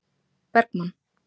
Bergmann